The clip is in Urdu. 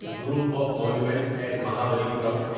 group of monuments at Mahabalipuram